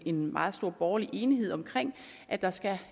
en meget stor borgerlig enighed om at der skal